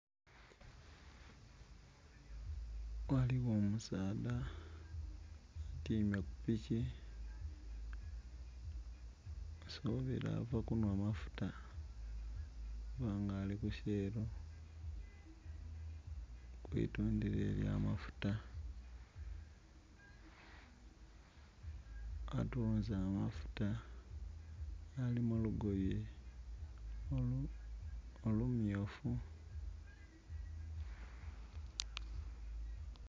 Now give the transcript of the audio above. Ghaligho omusaadha atyaime ku piki nsubila ali kunhwa amafuta kuba ali ku "shell" kwi tundhiro elya mafuta. Atunze amafuta ali mu lugoye olu myufu.